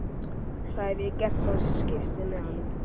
Hvað hef ég gert af skiptimiðanum?